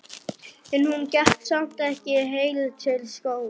En hún gekk samt ekki heil til skógar.